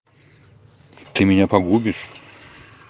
ты меня погубишь